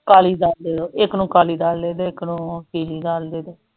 ਕਾਲੀ ਦਾਲ ਇਕ ਨੂੰ ਕਾਲੀ ਦੇਦੋ ਇਕ ਨੂੰ ਪੀਲੀ ਦਾਲ ਦੇਦੋ